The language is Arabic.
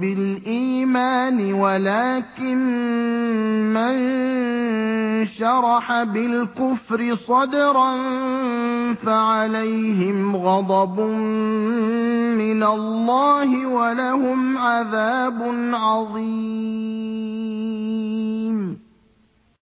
بِالْإِيمَانِ وَلَٰكِن مَّن شَرَحَ بِالْكُفْرِ صَدْرًا فَعَلَيْهِمْ غَضَبٌ مِّنَ اللَّهِ وَلَهُمْ عَذَابٌ عَظِيمٌ